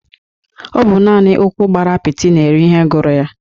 Ọ bụ naani ụkwụ gbara apiti na-eri ihe gụrụ ya.